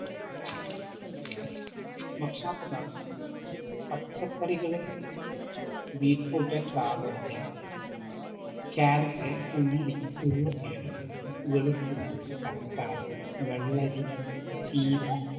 ഭക്ഷണ പദാർത്ഥം പച്ചക്കറികള് ബീറ്റ്റൂട്ട്, കാബ്ബജ്, കാരറ്റ്, ഉള്ളി, ഉരുളക്കിഴങ്ങു, വെളുത്തുള്ളി, തക്കാളി, വെള്ളരി, ചീര,